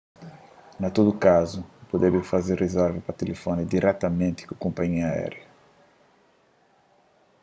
na tudu kazu bu debe faze rizerva pa tilifoni diretamenti ku konpanhia aériu